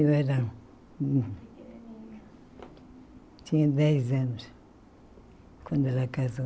Eu era hum... Tinha dez anos, quando ela casou.